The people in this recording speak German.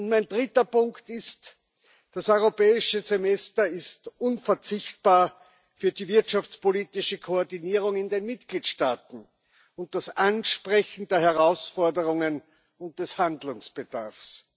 Mein dritter Punkt Das Europäische Semester ist unverzichtbar für die wirtschaftspolitische Koordinierung in den Mitgliedstaaten, und für das Ansprechen der Herausforderungen und des Handlungsbedarfs.